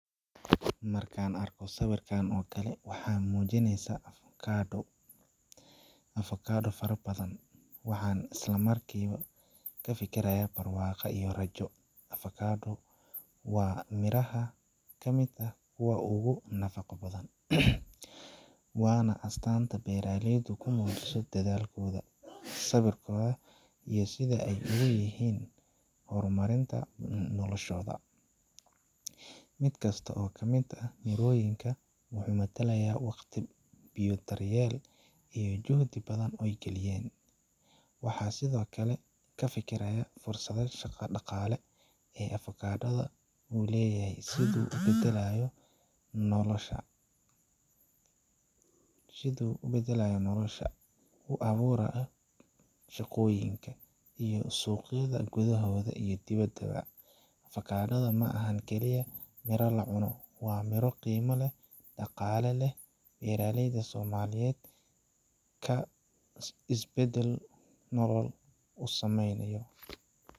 Markaa arko sawirkan okale waxaan mujineesa avocado fara badan waxaa isla markiiba ka fikirayaa barwaaqo iyo rajo avocado waa miraha kamid ah kuwa oogu nafaqa badan waana astanta beeraleyda kunool dhadaalkooda sawirku iyo sidaay oogu leyihiin horumarinta noloshoda, midkasta oo kamid mirooyinka waxuu matalayaa waqti iyo dharyeel juhdi badan ooy geliyeen waxaa sidokale kafikirayaa fursada shaqa dhaaqale ee avocado da uu leyahay siduu ubedelaayo nolosha, u abuurayo shaqooyinka iyo suqyada gudahooda iyo dhibada bo avocado da maahan keliyah mira la cuno waa mira qiima leh dhaqaale leh beraleyda somaliyeed isbedel nolol usameynayo.